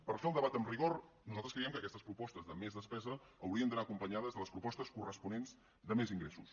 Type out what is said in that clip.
per fer el debat amb rigor nosaltres creiem que aquestes propostes de més despesa haurien d’anar acompanyades de les propostes corresponents de més ingressos